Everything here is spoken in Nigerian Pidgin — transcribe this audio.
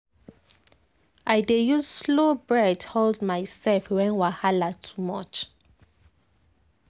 i dey use slow breath hold myself when wahala too much.